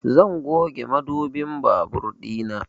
Zan goge mudubin babur ɗina